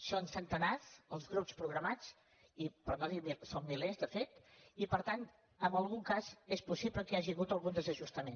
són centenars els grups programats són milers de fet i per tant en algun cas és possible que hi hagi hagut algun desajustament